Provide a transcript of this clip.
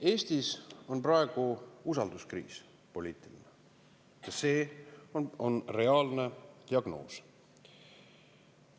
Eestis on praegu poliitiline usalduskriis ja see on reaalne diagnoos.